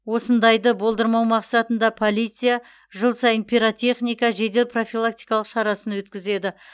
осындайды болдырмау мақсатында полиция жыл сайын пиротехника жедел профилактикалық шарасын өткізеді